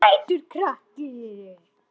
Sætur krakki!